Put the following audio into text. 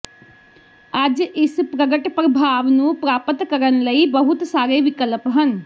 ਅੱਜ ਇਸ ਪ੍ਰਗਟ ਪ੍ਰਭਾਵ ਨੂੰ ਪ੍ਰਾਪਤ ਕਰਨ ਲਈ ਬਹੁਤ ਸਾਰੇ ਵਿਕਲਪ ਹਨ